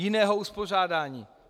Jiné uspořádání.